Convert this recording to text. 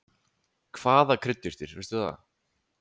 Hvaða kryddjurtir, veistu það?